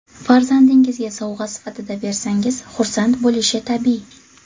Farzandingizga sovg‘a sifatida bersangiz xursand bo‘lishi tabiiy.